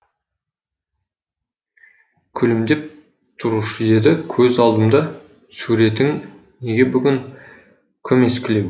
күлімдеп тұрушы еді көз алдымда суретің неге бүгін көмескілеу